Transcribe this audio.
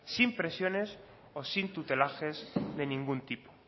sin presiones o sin tutelajes de ningún tipo